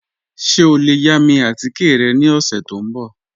Ṣẹ o le yà mi atikẹ̀ rẹ ni ọṣẹ̀ tó nbọ̀?